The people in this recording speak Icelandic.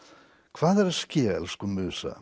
hvað er að ske elsku